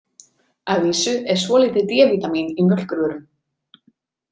Að vísu er svolítið D-vítamín í mjólkurvörum.